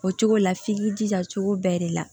O cogo la f'i k'i jija cogo bɛɛ de la